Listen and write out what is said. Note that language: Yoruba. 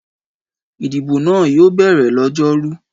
Ìdìbò náà yóò bẹ̀rẹ̀ lọ́jọ́rú.